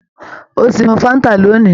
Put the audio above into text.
Ó ti mu fáńtà lónìí?